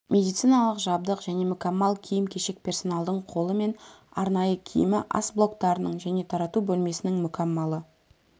медициналық жабдық және мүкәммал киім-кешек персоналдың қолы мен арнайы киімі ас блоктарының және тарату бөлмесінің мүкәммалы